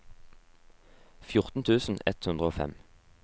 fjorten tusen ett hundre og fem